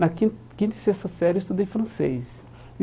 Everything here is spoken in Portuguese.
Na quin quinta e sexta série, eu estudei francês. E